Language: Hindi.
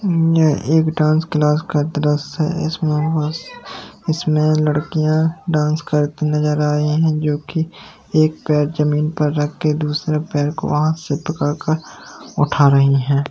यह एक डांस क्लास का दृश्य है इसमें आवास इसमें लड़कियां डांस करती नजर आए हैं जो की एक पैर जमीन पर रखकर दूसरे पर को वहां से पकड़ कर उठा रही है।